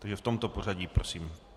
Takže v tomto pořadí prosím.